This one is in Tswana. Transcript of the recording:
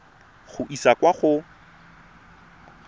go e isa kwa go